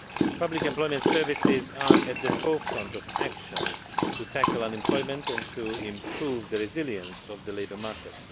Public employment services are at the forefront of action to tackle unemployment and to improve the resilience of the labour market.